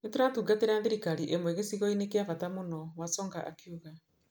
Nĩ tũratungatĩra thirikari ĩmwe gĩcigo-inĩ kĩa bata mũno", Wasonga akiuga.